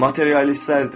Materialistlərdir.